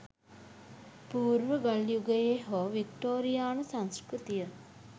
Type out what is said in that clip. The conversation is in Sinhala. පූර්ව ගල් යුගයේ හෝ වික්ටෝරියානු සංස්කෘතිය